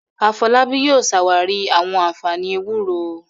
Afolábí yóò ṣàwárí àwọn ànfàní ewúro